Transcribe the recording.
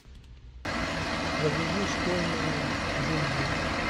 загрузи школьные джунгли